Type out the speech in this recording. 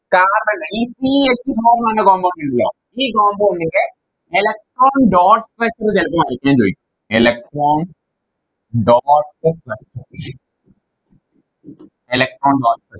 carbon എ ഈ C h four ന്ന് പറഞ്ഞ Compound ഉണ്ടല്ലോ ഈ Compound ന്റെ Electron dot plus എവിടുന്നാ കിട്ടിയെന്ന് ചോയിക്കും Electron dot Electron dot